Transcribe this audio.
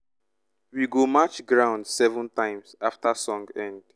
we go match ground seven times after song end.